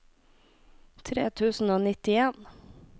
tre tusen og nittien